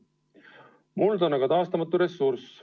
Muld on aga taastumatu ressurss.